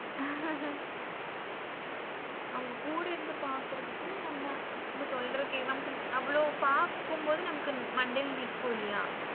அவங்க கூட இருந்து பாக்குறதுக்கும் நம்ம சொல்ற நம்ம அவளோ பாக்கும்போது மண்டைல நிக்கும் இல்லையா?